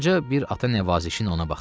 Qoca bir ata nəvazişiylə ona baxdı.